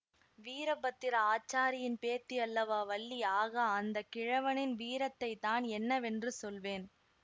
வீரபத்திர ஆச்சாரியின் பேத்தி அல்லவா வள்ளி ஆகா அந்த கிழவனின் வீரத்தைத்தான் என்னவென்று சொல்வேன்